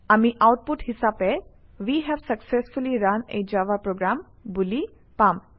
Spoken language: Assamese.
আমি আউটপুট হিচাপে we have successfully run a Java program বুলি পাম